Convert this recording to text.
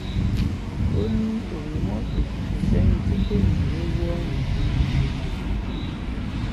òní òun mọ̀ pé kò sẹ́ni tí kò ní í rówó ọ̀hún ná